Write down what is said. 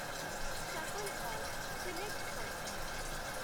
shuffle all select କର